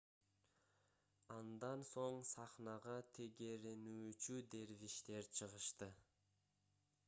андан соң сахнага тегеренүүчү дервиштер чыгышты